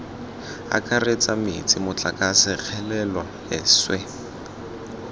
akaretsa metsi motlakase kgelelo leswe